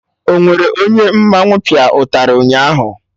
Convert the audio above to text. Onwere onye mmanwụ pịa ụtarị ụnyaahụ?